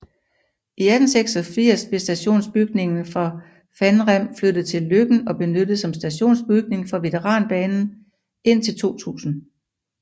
I 1986 blev stationsbygningen fra Fannrem flyttet til Løkken og benyttet som stationsbygning for veteranbanen indtil 2000